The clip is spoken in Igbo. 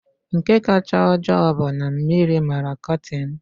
Nke kacha ojoo bụ na mmiri mara kọtin m.